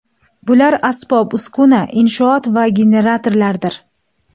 Bular asbob-uskuna, inshoot va generatorlardir.